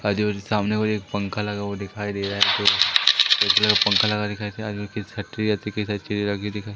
आजू-बाजू सामने एक पंखा लगा हुआ दिखाई दे रहा है दूसरे जगह पंखा लगा दिखाई दे रहा आगे की दिखा --